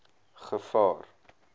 gevaar